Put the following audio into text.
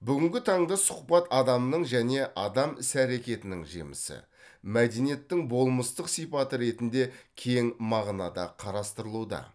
бүгінгі таңда сұхбат адамның және адам іс әрекетінің жемісі мәдениеттің болмыстық сипаты ретінде кең мағынада қарастырылуда